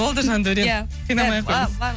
болды жандаурен иә қинамай ақ қой